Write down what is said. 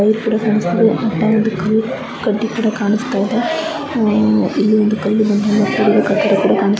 Wire ಕೂಡ ಕಾಣಿಸ್ತಾಯಿದೆ ಇಲ್ಲಿ ಕಡ್ಡಿ ಕೂಡ ಕಾನಿಸ್ತಾಇದೆ ಹಾಗೆ ಇಲ್ಲಿ ಕಲ್ಲು ಬಂದೆ ಇಂದ ಕುಡಿದ ಕಟ್ಟಡ ಕೂಡ ಕಾಣಿಸ್ತಾಯಿದೆ.